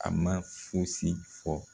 A ma fosi fɔ